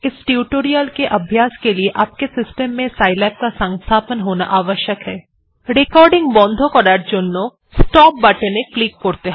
इस ट्यूटोरियल के अभ्यास लिए आपके सिस्टम में साइलैब का संस्थापन होना आवश्यक है রেকর্ডিং বন্ধ করার জন্য স্টপ বাটনে ক্লিক করতে হবে